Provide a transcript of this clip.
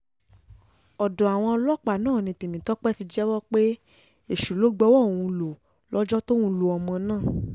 ọ̀dọ̀ àwọn ọlọ́pàá náà ni tèmitọ́pẹ́ ti jẹ́wọ́ pé èṣù ló gbowó òun lọ lọ́jọ́ tóun lu ọmọ náà